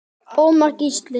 Ómar Gísli.